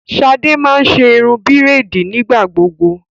Shade má n ṣe irun braidi nigbagbogbo